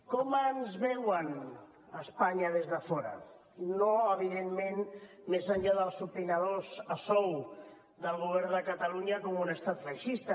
com ens veuen a espanya des de fora no evidentment més enllà dels opinadors a sou del govern de catalunya com un estat feixista